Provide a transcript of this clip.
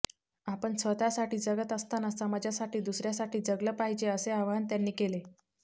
आपण स्वतःसाठी जगत असतांना समाजासाठी दुसऱ्यासाठी जगल पाहिजे असे आवाहन त्यांनी केले